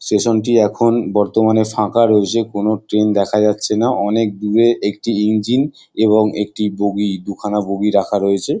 Station টি এখন বর্তমানে ফাঁকা রয়েছে কোনো ট্রেন দেখা যাচ্ছে না অনেক দূরে একটি ইঞ্জিন এবং একটি বগি দুখানা বগি রাখা রয়েছে।